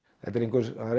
það er